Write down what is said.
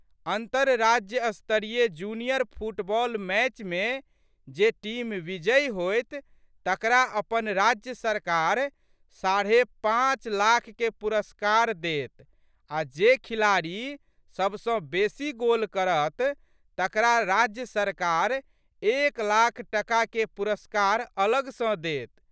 अन्तरराज्य स्तरीय junior football मैचमे जे टीम विजयी होएत तकरा अपन राज्य सरकार साढ़े पाँच लाखके पुरस्कार देत आ' जे खिलाड़ी सबसँ बेशी गोल करत तकरा राज्य सरकार एक लाख टकाके पुरस्कार अलग सँ देत।